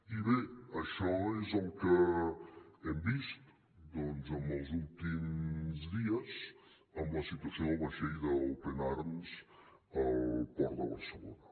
i bé això és el que hem vist doncs en els últims dies amb la situació del vaixell open arms al port de barcelona